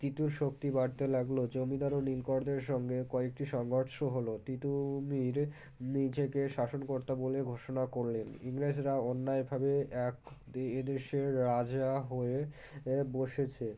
তীতুর শক্তি বাড়তে লাগল জমিদার ও নীলকরদের সঙ্গে কয়েকটি সংঘর্ষ হলো তীতুমীর নিজেকে শাসনকর্তা বলে ঘোষণা করলেন ইংরেজরা অন্যায় ভাবে এক এদেশের রাজরা হয়ে এএ বসেছে